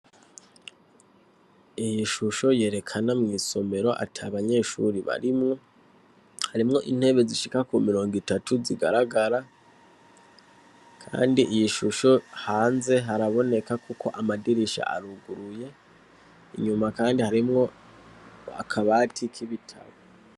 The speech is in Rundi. Iyishusho yerekana mwisomero atabanyeshure barimwo harimwo intebe zishika kumirongo itatu zigaragara kandi iyishusho hanze haraboneka kuko amadirisha aruguruye inyuma kandi harimwo akabati kibitabo